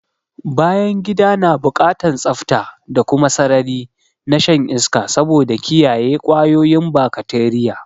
Bayangida na buƙatan tsafta da kuma sarari na shan iska saboda kiyaye kwayoyin bakateriya